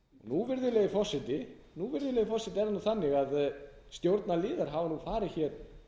ríkissparisjóðir nú virðulegi forseti er það þannig að stjórnarliðar hafa farið hér